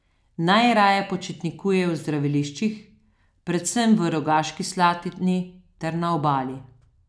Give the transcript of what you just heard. Najraje počitnikujejo v zdraviliščih, predvsem v Rogaški Slatini, ter na Obali.